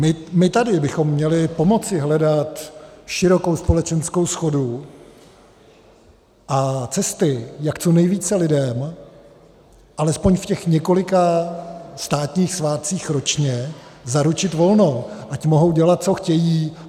My tady bychom měli pomoci hledat širokou společenskou shodu a cesty, jak co nejvíce lidem alespoň v těch několika státních svátcích ročně zaručit volno, ať mohou dělat, co chtějí.